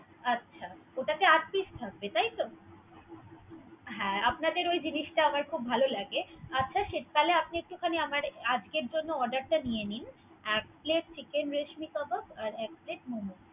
আচ্ছা ওটাতে আট Peace থাকবে তাহলে। তাইতো। আপনাদের ওই জিনিস টা আমার খুব ভালো লাগে। আচ্ছা ঠিক তাহলে আজকের জন্য Order টা নিয়ে নিন। এক Plate Chicken রেশমি কাবাব আর এক Plate মোমো।